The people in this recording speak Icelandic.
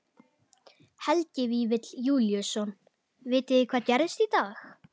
Helgi Vífill Júlíusson: Vitið þið hvað gerðist í dag?